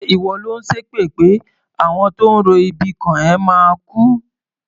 Ṣé ìwọ lò ń ṣépè pé àwọn tó ń ro ibi kàn ẹ́ máa kú?